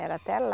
Era até lá.